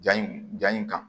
Ja in ja in kan